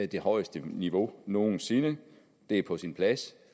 det højeste niveau nogen sinde det er på sin plads